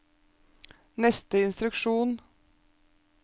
neste instruksjon